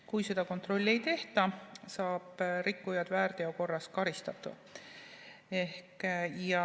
Kui seda kontrolli ei tehta, saab rikkujat väärteo korras karistada.